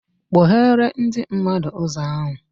Kpoghere ndị mmadụ ụzọ ahụ